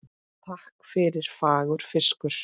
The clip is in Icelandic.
Takk fyrir fagur fiskur.